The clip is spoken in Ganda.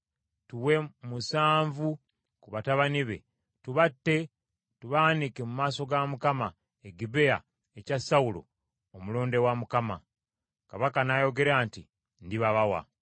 tuwe musanvu ku batabani be tubatte tubaanike mu maaso ga Mukama e Gibea ekya Sawulo, omulonde wa Mukama .” Kabaka n’ayogera nti, “Ndibabawa.”